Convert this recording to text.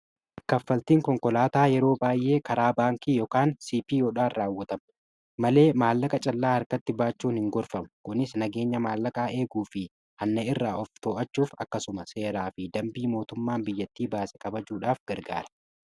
kaffaltiin konkolaataa yeroo baay'ee karaa baankii ykn CPO'dhaan raawwatama malee maallaqa callaa harkatti baachuun hin gorfamu. kunis nageenya maallaqaa eeguu fi hanna irraa of to'achuuf akkasuma seeraa fi dambii mootummaan biyyattii baase kabajuudhaaf gargaara.